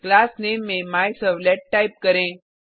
class name में MyServlet type करें